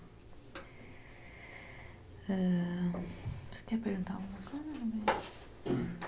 ãh... Você quer perguntar alguma coisa?